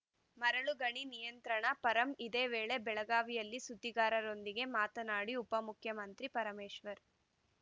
ಮರಳು ಗಣಿ ನಿಯಂತ್ರಣ ಪರಂ ಇದೇ ವೇಳೆ ಬೆಳಗಾವಿಯಲ್ಲಿ ಸುದ್ದಿಗಾರರೊಂದಿಗೆ ಮಾತನಾಡಿದ ಉಪಮುಖ್ಯಮಂತ್ರಿ ಪರಮೇಶ್ವರ್‌